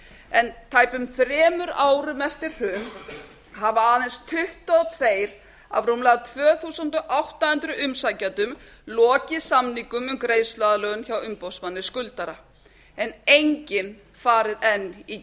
en tæpum þremur árum eftir hrun hafa aðeins tuttugu og tvö af rúmlega tvö þúsund átta hundruð umsækjendum lokið samningum um greiðsluaðlögun hjá umboðsmanni skuldara en enginn farið enn í